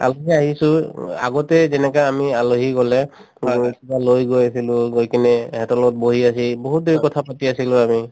আলহী আহিছো উম আগতে যেনেকা আমি আলহী গলে কিবা লৈ গৈ আছিলো লৈ গৈ কিনে এহেতৰ লগত বহি বহুত দেৰি কথাপাতি আছিলো আগত